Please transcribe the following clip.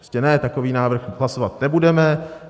Prostě ne, takový návrh hlasovat nebudeme.